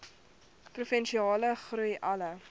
provinsiale groei alle